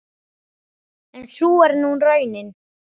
En sú er nú raunin.